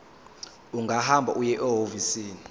ungahamba uye ehhovisi